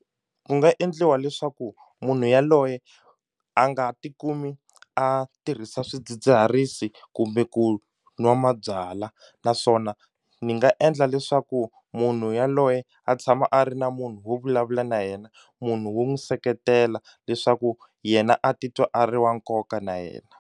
Ku nga endliwa leswaku munhu yaloye a nga tikumi a tirhisa swidzidziharisi kumbe ku nwa mabyalwa naswona ni nga endla leswaku munhu yaloye a tshama a ri na munhu wo vulavula na yena munhu wo n'wu seketela leswaku yena a titwa a ri wa nkoka na yena.